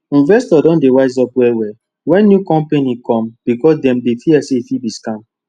investors don dey wise up well well wen new compani cum becos dem dey fear say e fit be scam